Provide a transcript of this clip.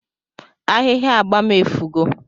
Ahihia agba m efugo